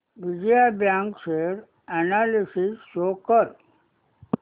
Vijaya bank share analysis show कर